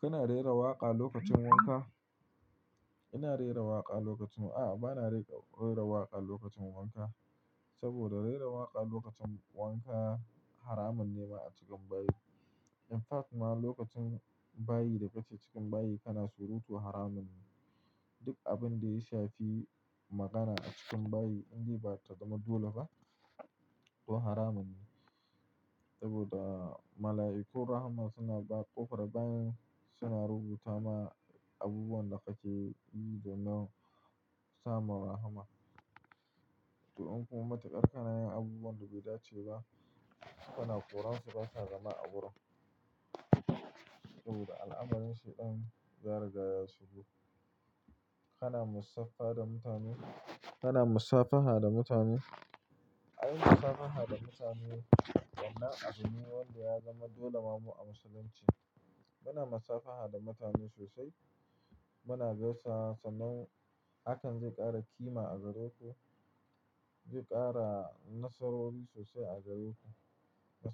Kana rera waƙa lokacin wanka? Ina rera waƙa lokacin A'a, bana rera waƙa lokacin wanka. Saboda rera waƙa lokacin wanka haramun ne ma a cikin bayi. In fact ma, lokacin bayi da katse cikin bayi kana surutu haramun ne. Duk abin da ya shafi magana a cikin bayi, in dai bata zama dole ba, to haramun ne. Saboda mala'iku rahman suna baƙo farar bayan suna rubuta ma abubuwan da kake yi don nan sama rahama. To in kuma matuƙar ka na yin abubuwan da bai dace ba, kana ƙoransu, ba sa gama a wurin. Saboda al'amarin Shaidan ya raga ya shigo. Kana mussafa da mutane? Kana massafaha da mutane? Ai, massafaha da mutane wannan abune wanda ya zama dole ma mu a musulunci. Muna massafaha da mutane sosai. Muna gaisawa nan hakan zai ƙara ƙima a gare ku, zai ƙara nasarori sosai a gare ku.